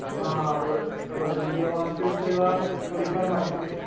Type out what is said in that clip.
हा बरोबर म्हणजे ऑनफिल्ड तुला थोडीफार माहिती भेटते